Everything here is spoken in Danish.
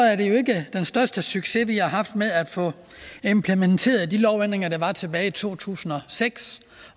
er det jo ikke den største succes vi har haft med at få implementeret de lovændringer der var tilbage i to tusind og seks